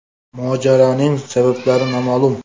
Mojaroning sabablari noma’lum.